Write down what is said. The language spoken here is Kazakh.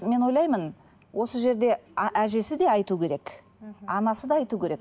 мен ойлаймын осы жерде әжесі де айту керек мхм анасы да айту керек